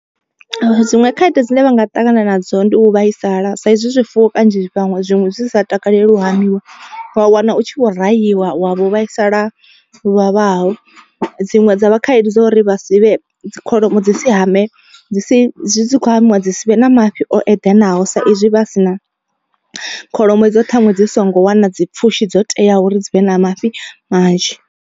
Dziṅwe khaedu dzine vha nga ṱangana nadzo ndi u vhaisala sa izwi zwifuwo kanzhi vhaṅwe zwiṅwe zwi sa takaleli lu hamiwa. Wa wana u tshi vho rahiwa wa vho vhaisala luvhavhaho dziṅwe dza vha khaedu dzo uri vha si vhe, dzi kholomo dzi si hamee dzi si dzi kho hamiwa dzi si vhe na mafhi o eḓanaho. Sa izwi vha si na kholomo idzo ṱhaṅwe dzi songo wana dzi pfhushi dzo teaho uri dzi vhe na mafhi manzhi.